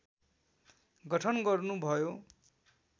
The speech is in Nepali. गठन गर्नुभयो